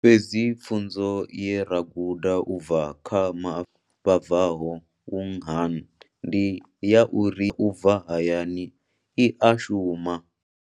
Fhedzi pfunzo ye ra guda u bva kha vha bvaho Wuhan ndi ya uri u bva hayani i a shuma.